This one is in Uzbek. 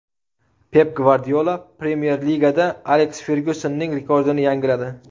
Pep Gvardiola Premyer Ligada Aleks Fergyusonning rekordini yangiladi.